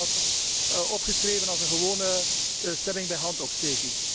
Bij mij staat dat opgeschreven als een gewone stemming bij handopsteking.